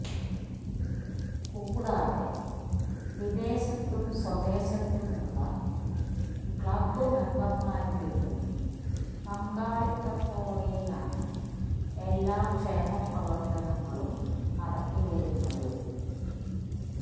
കൂടാതെ വിദേശത്തും സ്വദേശത്തും ഉള്ള ക്ലബ്ബ് മെമ്പർമാരുടെയും പങ്കാളിത്തത്തോടെയാണ് എല്ലാ ക്ഷേമപ്രവർത്തനങ്ങളും നടത്തി വരുന്നത്